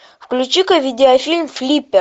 включи ка видеофильм флиппер